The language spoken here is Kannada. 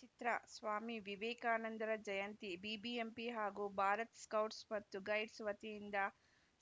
ಚಿತ್ರಸ್ವಾಮಿ ವಿವೇಕಾನಂದರ ಜಯಂತಿ ಬಿಬಿಎಂಪಿ ಹಾಗೂ ಭಾರತ್‌ ಸ್ಕೌಟ್ಸ್‌ ಮತ್ತು ಗೈಡ್ಸ್‌ ವತಿಯಿಂದ